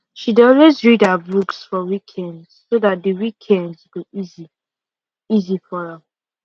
she dey always read her books for weekend so dat d weekdays go easy easy for am